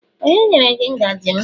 onye nyere gi ngaji m?